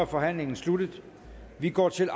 forhandlingen sluttet og vi går til